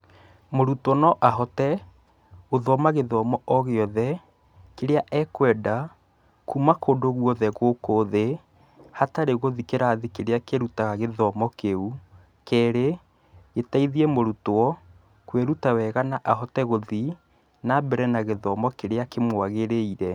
Mũrutwo no ahote, gũthoma gĩthomo o gĩothe, kĩria ekwenda, kuma kũndũ guothe gũkũ thĩ, hatarĩ gũthiĩ kĩrathi kĩrĩa kĩrutaga gĩthomo kĩu. Kerĩ, gĩteithie mũrutwo, kwĩruta wega na ahote gũthiĩ na mbere na gĩthomo kĩrĩa kĩmwagĩrĩire.